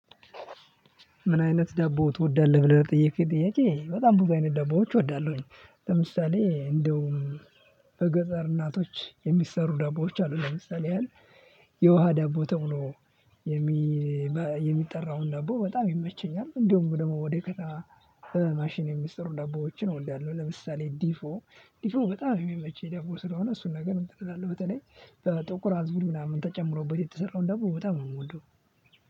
ምን አይነት ዳቦ ትወዳለህ? ብለህ ለጠየቅከኝ ጥያቄ በጣም ብዙ አይነት ዳቦዎች እወዳለሁኝ። ለምሳሌ እንደው በገጸር እናቶች የሚሰሩ ዳቦዎች አሉ። ለምሳሌ ያህል የውሃ ዳቦ ተብሎ የሚጠራውን ዳቦ በጣም ይመቸኛል። እንደውም ደግሞ ወደ ከተማ በማሽን የሚሰሩ ዳቦዎችን እወዳለሁ። ለምሳሌ ድፎ ድፎ በጣም የሚመቸኝ ዳቦ ስለሆነ እሱን ነገር እንትን እላለሁ። በተለይ በጥቁር አዝሙድ ምናምን ተጨምሮበት የተሰራውን ዳቦ በጣም ነው የምወደው